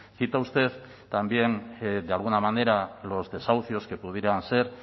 cita usted también de alguna manera los desahucios que pudieran ser